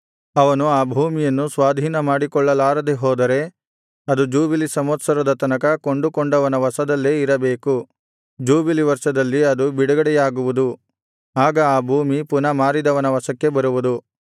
ಅವನು ಆ ಭೂಮಿಯನ್ನು ಸ್ವಾಧೀನಪಡಿಸಿಕೊಳ್ಳಲಾರದೆ ಹೋದರೆ ಅದು ಜೂಬಿಲಿ ಸಂವತ್ಸರದ ತನಕ ಕೊಂಡುಕೊಂಡವನ ವಶದಲ್ಲೇ ಇರಬೇಕು ಜೂಬಿಲಿ ವರ್ಷದಲ್ಲಿ ಅದು ಬಿಡುಗಡೆಯಾಗುವುದು ಆಗ ಆ ಭೂಮಿ ಪುನಃ ಮಾರಿದವನ ವಶಕ್ಕೆ ಬರುವುದು